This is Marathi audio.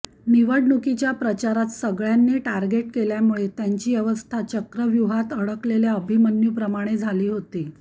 निवडणुकीच्या प्रचारात सगळ्यांनी टार्गेट केल्यामुळे त्यांची अवस्था चक्रव्यूहात अडकलेल्या अभिमन्यूप्रमाणे झाली होती